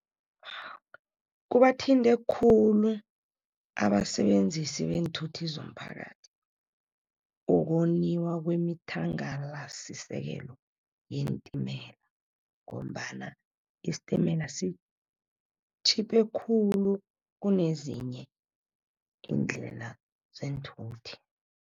Kubathinte khulu abasebenzisi beenthuthi zomphakathi. Ukoniwa kwemithangalasisekelo yeentimela ngombana isitimela sitjhiphe khulu kunezinye indlela zeenthuthi.